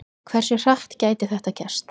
En hversu hratt gæti þetta gerst?